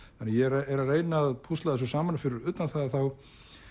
ég er að reyna að púsla þessu saman fyrir utan það að þá